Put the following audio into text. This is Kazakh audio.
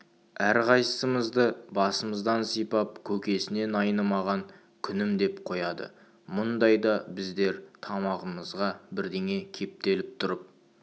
әрқайсымызды басымыздан сипап көкесінен айнымаған күнім деп қояды мұндайда біздер тамағымызға бірдеңе кептеліп тұрып